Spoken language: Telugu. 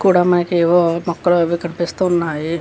కూడా మనకి మొక్కలు అవి కనిపిస్తున్నాయి.